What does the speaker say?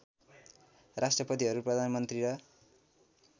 राष्ट्रपतिहरू प्रधानमन्त्री र